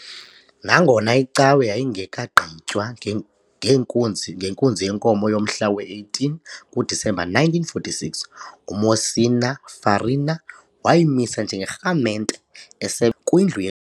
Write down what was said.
Nangona icawe yayingekagqitywa, ngeenkunzi ngenkunzi yenkomo yomhla we-18 kuDisemba 1946, uMonsignor Farina wayimisa njengerhamente, esekwindlu.